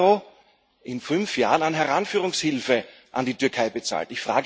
EUR an Heranführungshilfe an die Türkei bezahlt.